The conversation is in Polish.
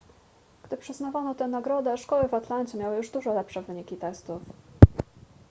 gdy przyznawano tę nagrodę szkoły w atlancie miały już dużo lepsze wyniki testów